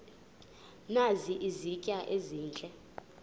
nazi izitya ezihle